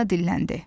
Falina dilləndi.